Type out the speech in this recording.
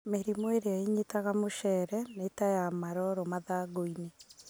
Mĩrĩmũ ĩrĩa ĩnyitaga mũcere nita wa maroro mathangũinĩ.